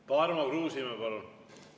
Tarmo Kruusimäe, palun!